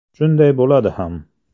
Shunday bo‘ladi ham.